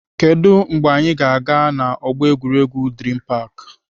Kedụ mgbe anyị ga-aga na ọgbọ egwuregwu Dream park?